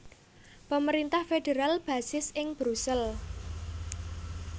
Pemerintah federal basis ing Brusel